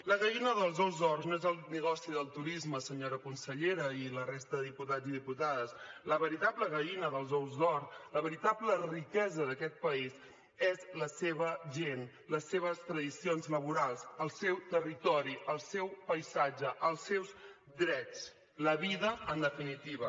la gallina dels ous d’or no és el negoci del turisme senyora consellera i la resta de diputats i diputades la veritable gallina dels ous d’or la veritable riquesa d’aquest país és la seva gent les seves tradicions laborals el seu territori el seu paisatge els seus drets la vida en definitiva